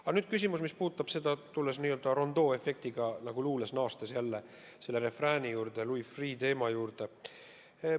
Aga nüüd küsimus, mis puudutab – tulles rondooefektiga nagu luules jälle selle refrääni juurde – Louis Freeh' teemat.